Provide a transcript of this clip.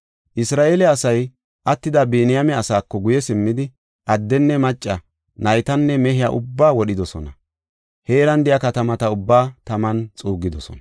Isra7eele asay attida Biniyaame asaako guye simmidi, addenne macca, naytanne mehiya ubbaa wodhidosona; heeran de7iya katamata ubbaa taman xuuggidosona.